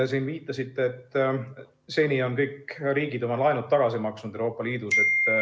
Te siin viitasite, et seni on kõik riigid Euroopa Liidus oma laenud tagasi maksnud.